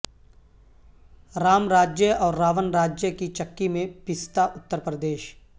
رام راجیہ اور راون راجیہ کی چکی میں پستا اتر پردیش